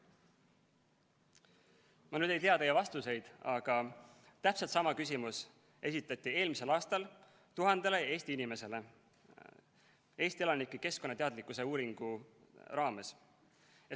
Ma ei tea teie vastuseid, aga täpselt sama küsimus esitati eelmisel aastal tuhandele inimesele Eesti elanike keskkonnateadlikkuse uuringu raames.